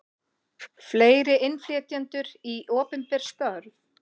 Fleiri innflytjendur í opinber störf